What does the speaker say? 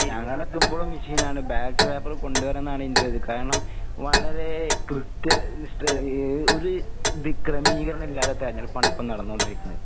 ഞങ്ങടെടുത്തിപ്പോഴും മെഷീനാണ്. Ballot paper കൊണ്ട് വരണന്നാണ് ഇന്റൊരിത്. കാരണം വളരേ കൃത്യനിഷ്ഠ ഏഹ് ഒര് ഇത് ക്രമീകരണില്ലാതെ തെരഞ്ഞെടുപ്പാണിപ്പോ നടന്നോണ്ടിരിക്കുന്നത്.